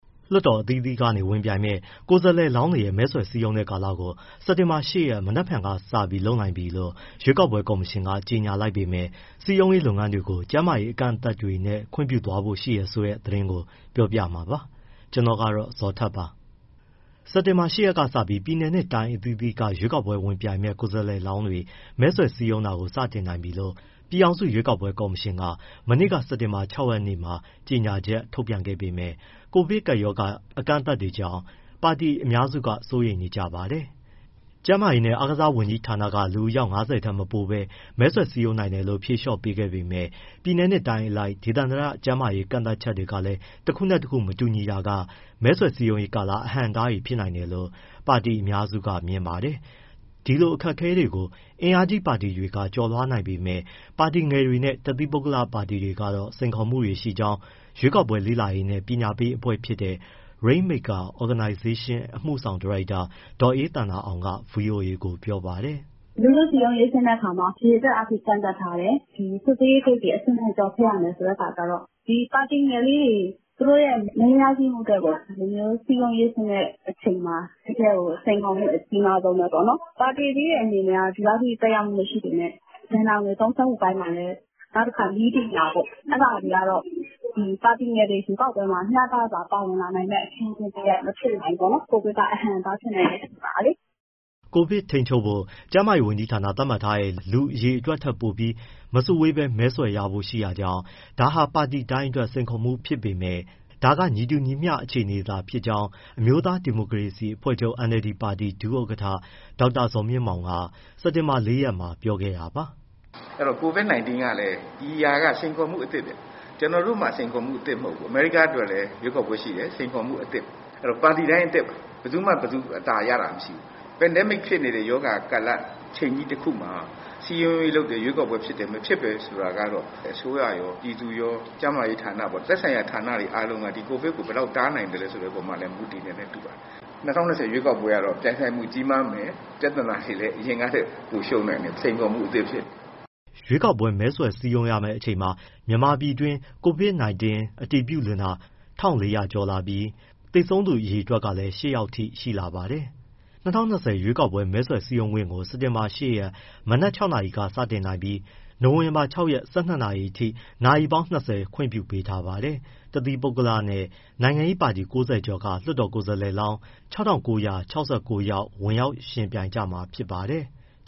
လွှတ်တော်အသီးသီးအတွက် ဝင်ပြိုင်မယ့် ကိုယ်စားလှယ်လောင်းတွေရဲ့ မဲဆွယ်စည်းရုံးတဲ့ကာလကို စက်တင်ဘာ ၈ ရက်၊ မနက်ဖြန်က စလုပ်နိုင်ပြီလို့ ရွေးကောက်ပွဲကော်မရှင်က ကြေညာလိုက်ပေမဲ့ စည်းရုံးရေးလုပ်ငန်းတွေကို ကျန်းမာရေး အကန့်အသတ်တွေနဲ့ပဲ ခွင့်ပြုသွားဖို့ရှိတယ်ဆိုတဲ့ သတင်းကို ပြောပြမှာပါ။ ဗွီအိုအေမြန်မာပိုင်းသတင်းထောက် ကိုဇော်ထက်က သတင်းပေးပို့ထားပါတယ်။ စက်တင်ဘာ ၈ ရက်ကစပြီး ပြည်နယ်နဲ့တိုင်းအသီးသီးကနေ ရွေးကောက်ပွဲဝင်ပြိုင်မယ့် ကိုယ်စားလှယ်လောင်းတွေ မဲဆွယ်စည်းရုံးတာ စတင်နိုင်ပြီလို့ ပြည်ထောင်စုရွေးကောက်ပွဲကော်မရှင်က မနေ့က စက်တင်ဘာ ၆ ရက်မှာကြေညာချက်ထုတ်ပြန်ခဲ့ပေမဲ့ COVID ကပ်ရောဂါ အကန့်အသတ်တွေကြောင့် ပါတီအများစုက စိုးရိမ်နေကြပါတယ်။ ကျန်းမာရေးနှင့်အားကစားဝန်ကြီးဌာနက လူအယောက် ၅၀ ထက်မပိုဘဲ မဲဆွယ်စည်းရုံးနိုင်တယ်လို့ ဖြေလျှော့ပေးခဲ့ပေမဲ့ ပြည်နယ်နဲ့တိုင်းအလိုက် ဒေသန္တရ ကျန်းမာရေးကန့်သတ်ချက်တွေကလည်း တခုနဲ့တခု မတူတာကလည်း မဲဆွယ်စည်းရုံးရေးကာလ အဟန့်အတားဖြစ်နိုင်တယ်လို့ ပါတီအများစုကမြင်ပါတယ်။ ဒီလိုအခက်အခဲတွေကို အင်အားကြီးပါတီတွေက ကျော်လွှားနိုင်ပေမဲ့ ပါတီငယ်နဲ့ တသီးပုဂ္ဂလပါတီတွေကတော့ စိန်ခေါ်မှုရှိကြောင်း ရွေးကောက်ပွဲလေ့လာရေးနဲ့ ပညာပေးအဖွဲ့ဖြစ်တဲ့ Rainmaker Organization အမှုဆောင်ဒါရိုက်တာ ဒေါ်အေးသန္တာအောင်က ဗွီအိုအေကို ပြောပါတယ်။ “လူထုစည်းရုံးရေးဆင်းတဲ့အခါမှာ အရေအတွက်အားဖြင့် ကန့်သတ်ထားတယ်။ စစ်ဆေးရေးဂိတ်တွေ အဆင့်ဆင့်ကျော်ဖြတ်ရမယ် ဆိုတဲ့အခါကျတော့ ဒီပါတီငယ်လေးတွေ သူတို့တွေ မဲရရှိမှုအတွက်ကို စည်းရုံးရေးဆင်းတဲ့အချိန်မှာ တကယ့်ကို စိန်ခေါ်မှု အကြီးမားဆုံးပဲပေါ့နော်။ ပါတီကြီးတွေကတော့ ဒီလောက်အထိ သက်ရောက်မှု မရှိပေမဲ့၊ နောက်တခါ ဘဏ္ဍာငွေ သုံးစွဲမှုအပိုင်းမှာလည်း၊ နောက်တခါ နည်းပညာပေါ့ အဲဒါတွေကတော့ ပါတီငယ်တွေ ရွေးကောက်ပွဲမှာ မျှတစွာပါဝင်လာနိုင်မယ့် အခင်းအကျင်းတရပ် မဖြစ်နိုင်ဘူးပေါ့နော်၊ ကိုဗစ်က အဟန့်အတားဖြစ်နိုင်တော့။” COVID ထိန်းချုပ်ဖို့ ကျန်းမာရေးဝန်ကြီးဌာန သတ်မှတ်ထားတဲ့ လူအရေအတွက်ထက်ပိုပြီး မစုဝေးဘဲ မဲဆွယ်ရဖို့ရှိတာကြောင့် ဒါဟာ ပါတီတိုင်းအတွက် စိန်ခေါ်မှုဖြစ်ပေမဲ့ ဒါကညီတူညီမျှ အခြေအနေသာဖြစ်ကြောင်း အမျိုးသားဒီမိုကရေစီအဖွဲ့ချုပ် NLD ပါတီ ဒုဥက္ကဋ္ဌ ဒေါက်တာဇော်မြင့်မောင်က စက်တင်ဘာ ၄ရက်မှာ ပြောခဲ့တာပါ။ “အဲဒီတော့ COVID-19 ကလည်း ဒီဟာက စိန်ခေါ်မှုအသစ်ဗျ၊ ကျနော်တို့မှ စိန်ခေါ်မှုအသစ်မဟုတ်ဘူး၊ အမေရိကားအတွက်လည်း ရွေးကောက်ပွဲရှိတယ်။စိန်ခေါ်မှုအသစ်။ အဲဒီတော့ ပါတီတိုင်း အသစ်ပါ ဘယ်သူမှ အသာရတာ မရှိဘူး။ Pandemic ဖြစ်နေတဲ့ ရောဂါကာလ အချိန်ကြီးတခုမှာ စည်းရုံးရေးလုပ်တယ်၊ ရွေးကောက်ပွဲဖြစ်တယ်၊ မဖြစ်တယ် ဆိုတာကတော့ အစိုးရရော၊ ပြည်သူရော၊ ကျန်းမာရေးဌာနပေါ့ သက်ဆိုင်ရာ ဌာနတွေအားလုံးက ဒီ COVID ကို ဘယ်လောက် တားနိုင်သလဲဆိုတဲ့ အပေါ်မှာလည်း မူတည်မယ်နဲ့ တူပါတယ်။ ၂၀၂၀ ရွေးကောက်ပွဲကတော့ ပြိုင်ဆိုင်မှုကြီးမားမယ်၊ ပြဿနာတွေလည်း အရင်ကထက် ပိုရှုပ်နိုင်တယ် စိန်ခေါ်မှု အသစ်ဖြစ်နေလို့။” ရွေးကောက်ပွဲ မဲဆွယ်စည်းရုံးရမယ့်အချိန်မှာ မြန်မာပြည်တွင်း COVID-19 အတည်ပြုလူနာ ၁,၄၀၀ ကျော်လာပြီး သေဆုံးသူအရေအတွက်ကလည်း ၈ ယောက် ထိရှိလာပါတယ်။ ၂၀၂၀ အထွေထွေရွေးကောက်ပွဲ မဲဆွယ်စည်းရုံးခွင့်ကို စက်တင်ဘာ ၈ ရက် မနက် ၆ နာရီကနေ စတင်နိုင်ပြီး နိုဝင်ဘာ ၆ ရက် ၁၂ နာရီအထိ ရက်ပေါင်း ၆၀ ခွင့်ပြုပေးထားပါတယ်။ တသီးပုဂ္ဂလနဲ့ နိုင်ငံရေးပါတီ ၉၀ ကျော်က လွှတ်တော်ကိုယ်စားလှယ်လောင်း ၆,၉၆၉ ယောက် ဝင်ရောက်ယှဉ်ပြိုင်ကြမှာဖြစ်ပါတယ်။